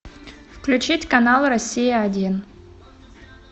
включить канал россия один